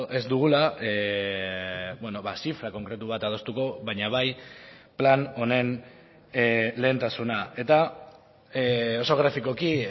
ez dugula zifra konkretu bat adostuko baina bai plan honen lehentasuna eta oso grafikoki